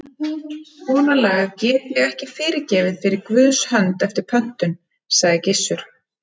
Svona lagað get ég ekki fyrirgefið fyrir Guðs hönd eftir pöntun, sagði Gissur.